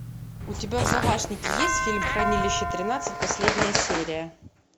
у тебя в загашнике есть фильм хранилище тринадцать последняя серия